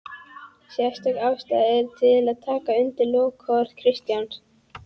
Sérstök ástæða er til að taka undir lokaorð Kristjáns